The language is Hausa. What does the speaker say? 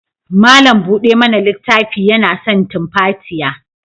Malam bude mana littafin yana son tumfatiya.